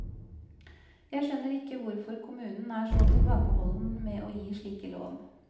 Jeg skjønner ikke hvorfor kommunen er så tilbakeholden med å gi slike lån.